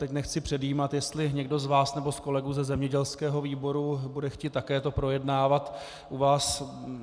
Teď nechci předjímat, jestli někdo z vás nebo z kolegů ze zemědělského výboru bude chtít také to projednávat u vás.